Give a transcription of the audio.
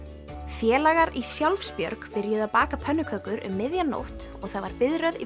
félagar í Sjálfsbjörg byrjuðu að baka pönnukökur um miðja nótt og það var biðröð í